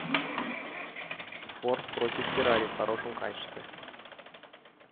форд против феррари в хорошем качестве